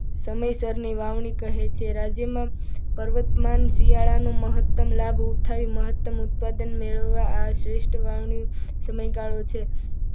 સમયસર ની વાવણી કહે છે. રાજ્યમાં પર્વતમાં શિયાળાનું મહત્તમ લાભ ઉઠાવી મહત્તમ ઉત્પાદન મેળવવા આ શ્રેષ્ઠ વાવણી સમયગાળો છે.